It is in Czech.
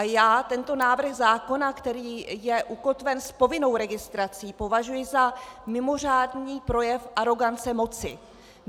A já tento návrh zákona, který je ukotven s povinnou registrací, považuji za mimořádný projev arogance moci.